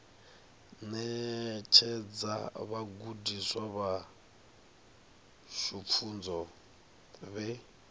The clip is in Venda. ṋetshedza vhagudiswa vhashu pfunzo vhe